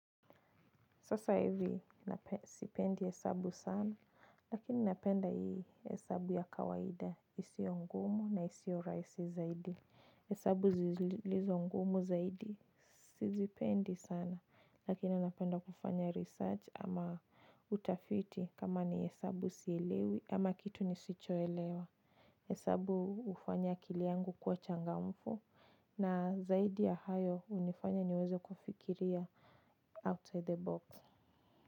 Sasa hivi sipendi hesabu sana, lakini napenda hii hesabu ya kawaida, isio ngumu na isio rahisi zaidi. Hesabu zilizo ngumu zaidi, sizipendi sana, lakini napenda kufanya research ama utafiti kama ni hesabu sielewi ama kitu nisichoelewa. Hesabu hufanya akili yangu kuwa changamfu na zaidi ya hayo hunifanya niweze kufikiria outside the box.